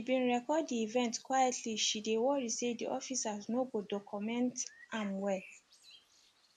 she bin record di event quietly she dey worry say di officers no go docomeent am well